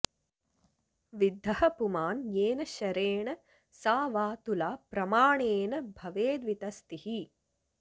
विद्धः पुमान् येन शरेण सा वा तुला प्रमाणेन भवेद्वितस्तिः